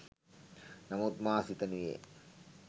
නමුත් මා සිතනුයේ